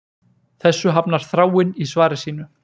Þessu hafnar Þráinn í svari sínu